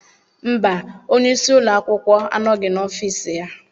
Mba, onye isi ụlọ akwụkwọ anọghị n'ọfiisi ya.